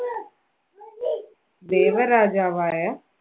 ദേവരാജാവായ